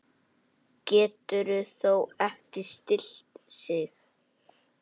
Getur þó ekki stillt sig.